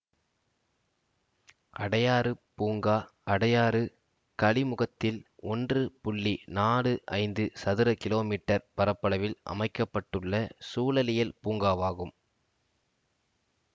அடையாறுப் பூங்கா அடையாறு கழிமுகத்தில் ஒன்று புள்ளி நாலு ஐந்து சதுர கிலோமீட்டர் பரப்பளவில் அமைக்க பட்டுள்ள சூழலியல் பூங்காவாகும்